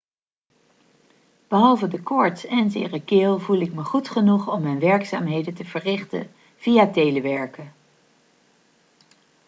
behalve de koorts en zere keel voel ik me goed genoeg om mijn werkzaamheden te verrichten via telewerken